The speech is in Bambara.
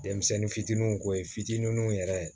Denmisɛnnin fitininw ko ye fitininw yɛrɛ